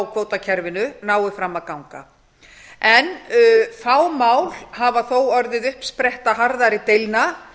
kvótakerfinu nái fram að ganga fá mál hafa þó orðið uppspretta harðari deilna